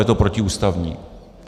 Je to protiústavní.